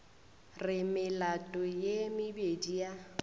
re melato ye mebedi ya